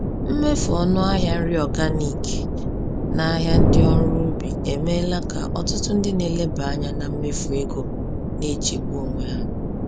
Mmefu ọnụ ahịa nri organic n’ahịa ndị ọrụ ubi emeela ka ọtụtụ ndị na-eleba anya na mmefu ego na-echegbu onwe ha.